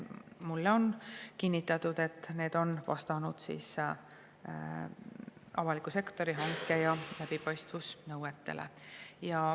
Mulle on kinnitatud, et need vastavad avaliku sektori hanke- ja läbipaistvusnõuetele.